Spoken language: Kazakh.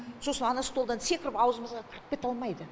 сосын ана столдан секіріп аузымызға кіріп кете алмайды